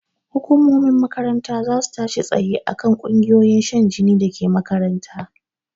Hukumomin makaranta zasu tashi tsaye akan ƙungiyoyin shan jini dake makaranta